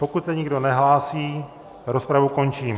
Pokud se nikdo nehlásí, rozpravu končím.